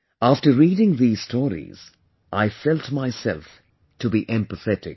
After reading these stories, I felt myself to be empathetic